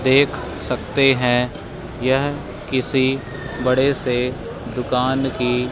देख सकते हैं यह किसी बड़े से दुकान की--